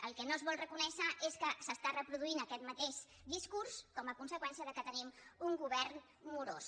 el que no es vol reco·nèixer és que s’està reproduint aquest mateix discurs com a conseqüència que tenim un govern morós